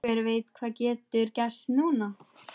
Hver veit hvað getur gerst núna?